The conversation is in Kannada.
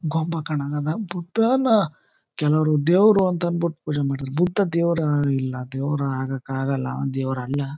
ಗೊಂಬಾ ಕಣಂಗ್ ಅಧ ಬುದ್ಧನ ಕೆಲವರು ದೇವರು ಅಂತಅಂದ್ಬಿಟ್ಟು ಪೂಜೆ ಮಾಡ್ತಾರಾ ಬುದ್ಧ ದೇವರು ಇಲ್ಲ ದೇವರು ಆಗೋಕ್ ಅಗಲ ದೇವರು ಅಲ್ಲ.